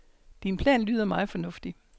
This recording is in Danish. Din plan lyder meget fornuftig.